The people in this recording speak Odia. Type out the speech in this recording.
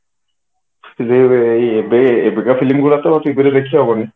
ଏବେ ଏବେ ତ film ଗୁରା ତ TV ରେ ଦେଖି ହବନି